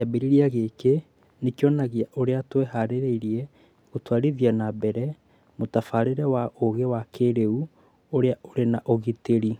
Kĩambĩrĩria gĩkĩ nĩ kĩonanagia ũrĩa twĩhaarĩirie gũtwarithia na mbere mũtabarĩre wa ũũgĩ wa kĩĩrĩu ũrĩa ũrĩ na ũgitĩri